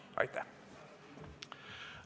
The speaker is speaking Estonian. Aitäh!